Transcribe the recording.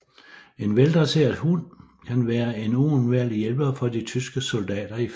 En veldresseret hund kan være en uundværlig hjælper for de tyske soldater i felten